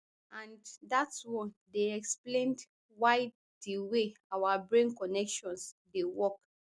and dat one dey explained by di way our brain connections dey work